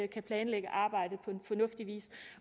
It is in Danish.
kan planlægge arbejdet på fornuftig vis